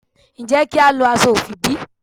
Ǹjẹ́ kí a lo aṣọ ofi bí?